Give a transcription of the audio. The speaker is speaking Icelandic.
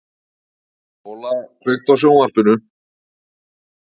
Óla, kveiktu á sjónvarpinu.